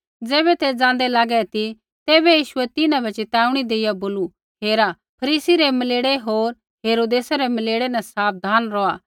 ज़ैबै ते ज़ाँदै लागै ती तैबै यीशुऐ तिन्हां बै च़िताऊणी देइया बोलू हेरा फरीसी रै मलेड़े होर हेरोदेसै रै मलेड़े न साबधान रौहा